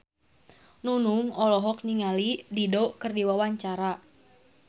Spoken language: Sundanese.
Nunung olohok ningali Dido keur diwawancara